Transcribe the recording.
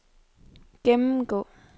gennemgå